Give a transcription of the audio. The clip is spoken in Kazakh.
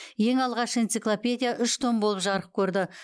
ең алғаш энциклопедия үш том болып жарық көрді